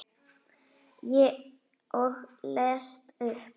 Og les upp.